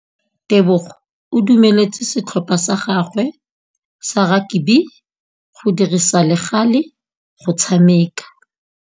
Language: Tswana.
Tebogô o dumeletse setlhopha sa gagwe sa rakabi go dirisa le galê go tshameka.